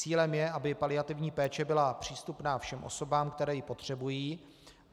Cílem je, aby paliativní péče byla přístupná všem osobám, které ji potřebují.